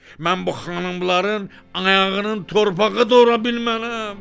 Mən bu xanımların ayağının torpağı da ola bilmərəm.